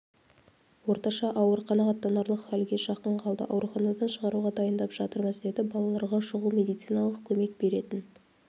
орташа ауыр қанағаттанарлық халге жақын қалды ауруханадан шығаруға дайындап жатырмыз дедібалаларға шұғыл медициналық көмек беретін